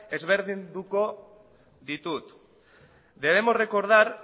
ezberdinduko ditut debemos recordar